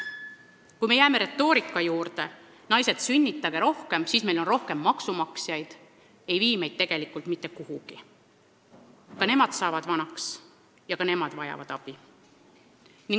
Kui me jääme selle retoorika juurde, et, naised, sünnitage rohkem, et meil siis on rohkem maksumaksjaid, siis see ei vii meid tegelikult mitte kuhugi, sest ka nemad saavad vanaks ja vajavad abi.